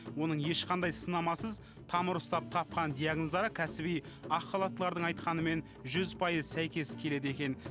оның ешқандай сынамасыз тамыр ұстап тапқан диагноздары кәсіби ақ халаттылардың айтқанымен жүз пайыз сәйкес келеді екен